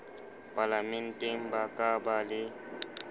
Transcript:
palamenteng ba ka ba le